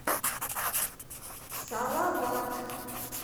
салават